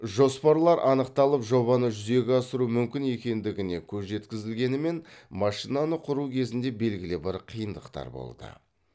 жоспарлар анықталып жобаны жүзеге асыру мүмкін екендігіне көз жеткізілгенімен машинаны құру кезінде белгілі бір қиындықтар болды